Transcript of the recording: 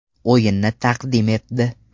o‘yinini taqdim etdi.